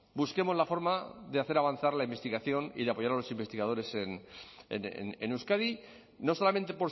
busquemos la forma de hacer avanzar la investigación y de apoyar a los investigadores en euskadi no solamente